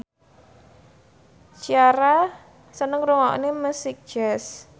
Ciara seneng ngrungokne musik jazz